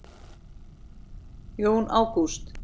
Jón Ágúst.